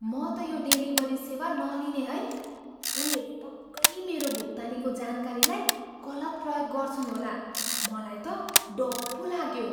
म त यो डेलिभरी सेवा नलिने है। उनीहरूले पक्कै मेरो भुक्तानीको जानकारीलाई गलत प्रयोग गर्छन् होला। मलाई त डर पो लाग्यो।